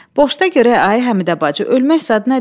Boşda görək ay Həmidə bacı, ölmək zad nədir?